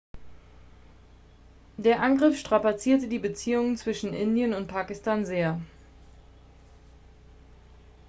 der angriff strapazierte die beziehungen zwischen indien und pakistan sehr